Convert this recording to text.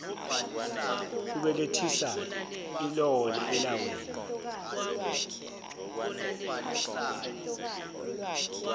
kubelethisa ilona elawina